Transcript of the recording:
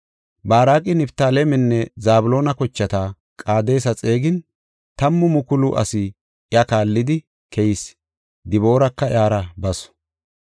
Baaraqi Niftaalemenne Zabloona kochata Qaadesa xeegin, tammu mukulu asi iya kaallidi keyis; Dibooraka iyara basu.